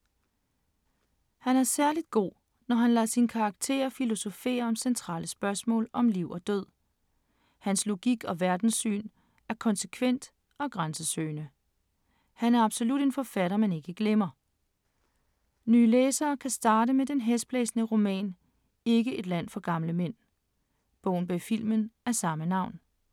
Han er særligt god, når han lader sine karakterer filosofere om centrale spørgsmål om liv og død. Hans logik og verdenssyn er konsekvent og grænsesøgende. Han er absolut en forfatter, man ikke glemmer. Nye læsere kan starte med den hæsblæsende roman Ikke et land for gamle mænd, bogen bag filmen af samme navn.